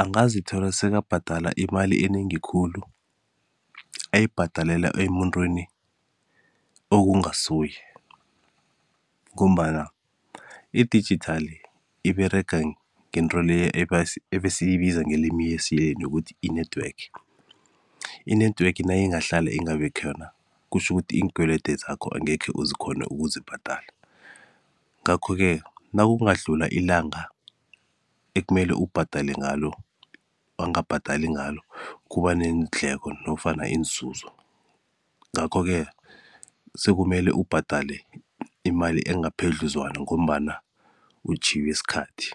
angazithola sekabhadala imali enengi khulu ayibhadalela emuntwini okungasuye ngombana i-digital iberega ngento le ebesiyibiza ngelimi lesiyeni ukuthi i-network. I-network nayingahlala ingabi khona kutjho ukuthi iinkwelede zakho angekhe uzikhone ukuzibhadala. Ngakho-ke nakungadlula ilanga ekumele ubhadale ngalo, wangabhadali ngalo kuba neendleko nofana iinzuzo ngakho-ke sekumele ubhadale imali engaphedluzwana ngombana utjhiywe sikhathi.